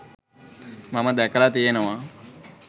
මම දැකලා තියෙනවා.